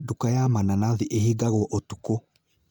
Duka ya mananathi ĩhingawo ũtukũ